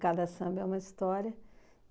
Cada samba é uma história.